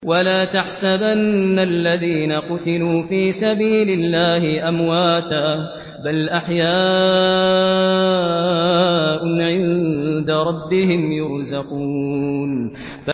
وَلَا تَحْسَبَنَّ الَّذِينَ قُتِلُوا فِي سَبِيلِ اللَّهِ أَمْوَاتًا ۚ بَلْ أَحْيَاءٌ عِندَ رَبِّهِمْ يُرْزَقُونَ